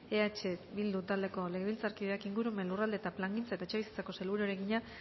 eh bildu taldeko legebiltzarkideak ingurumen lurralde plangintza eta etxebizitzako sailburuari egina